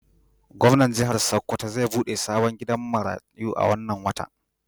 Gomnan jihar sokoto zai bude sabon gidan maratu wannan wata